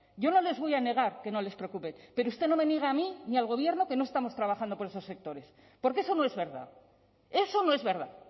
yo no les voy a negar que no les preocupe pero usted no me niegue a mí ni al gobierno que no estamos trabajando por esos sectores porque eso no es verdad eso no es verdad